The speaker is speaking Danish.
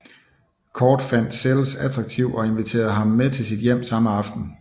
Cordt fandt Sells attraktiv og inviterede ham med til sit hjem samme aften